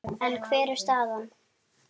En hver er staðan?